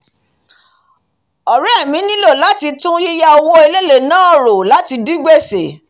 ọ̀ré mi nílọ̀ láti tún yíyá owó èléèlé náà rò láti dí gbèsè